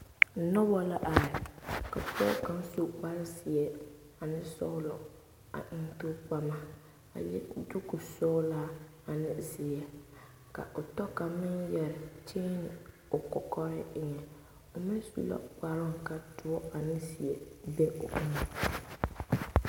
Noba la are ka pɔge kaŋ su kpar zeɛ a eŋ tookpama a le dugu sɔgelaa ane zeɛ ka o tɔ kaŋ meŋ yɛrɛ kyeeni o kɔkɔre eŋa o meŋ su la kparoo ka doɔ. ane zeɛ be be